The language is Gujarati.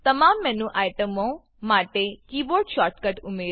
તમામ મેનુ આઈટમો માટે કીબોર્ડ શોર્ટ કટ ઉમેરો